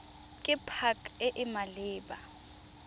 ke pac e e maleba